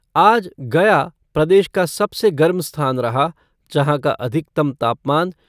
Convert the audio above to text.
आज गया प्रदेश का सबसे गर्म स्थान रहा जहां का अधिकतम तापमान